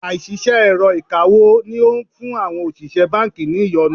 Àìṣiṣẹ́ èrọ ìkawó ni ó ń fún àwọn òṣìṣẹ́ báńkì ní ìyọnu.